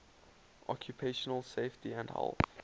occupational safety and health